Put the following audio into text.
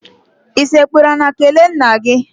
I sekpuru ala kelee nna gị?